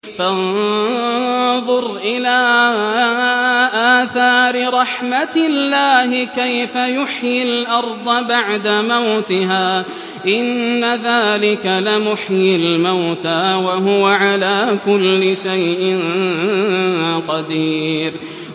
فَانظُرْ إِلَىٰ آثَارِ رَحْمَتِ اللَّهِ كَيْفَ يُحْيِي الْأَرْضَ بَعْدَ مَوْتِهَا ۚ إِنَّ ذَٰلِكَ لَمُحْيِي الْمَوْتَىٰ ۖ وَهُوَ عَلَىٰ كُلِّ شَيْءٍ قَدِيرٌ